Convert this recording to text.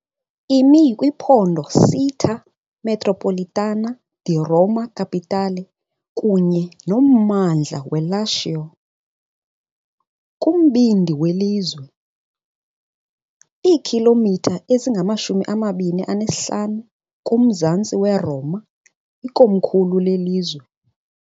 Imi kwiphondo Città metropolitana di Roma Capitale kunye nommandla weLacio, kumbindi welizwe, iikhilomitha ezingama-25 kumzantsi weRoma ikomkhulu lelizwe.